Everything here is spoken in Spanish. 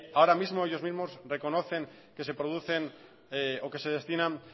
ahora mismo que ellos mismos reconocen que se producen o que se destinan